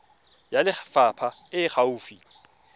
ya lefapha e e gaufi